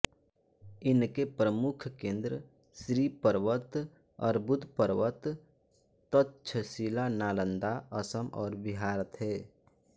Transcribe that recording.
इनके प्रमुख केन्द्र श्रीपर्वत अर्बुदपर्वत तक्षशिला नालन्दा असम और बिहार थे